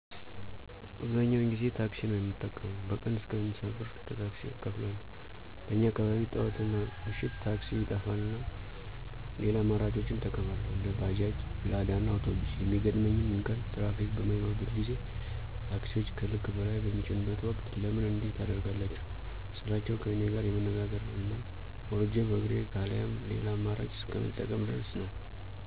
አብዛኛውን ጊዜ ታክሲ ነው ምጠቀመው። በቀን እስከ አምሳ ብር ለታክሲ እከፍላለሁ። በኛ አካባቢ ጥዋትናምሽት ታክሲ ይጠፋና ሌላ አማራጮችን እጠቀማለሁ። እንደ ባጃጅ፣ ላዳእና አውቶቢስ የሚገጥመኝ እንከን ትራፊክ በማይኖርበት ጊዜ ታክሲወች ከልክ በላይ በሚጭኑበት ወቅት ለምን እንዲህ ታደርጋላችሁ ስላቸው ከኔጋር የመነጋገር እና ወርጀ በእግሬ ካለያም ሌላ አመራጭ እስከ መጠቀም ድረስ ነው።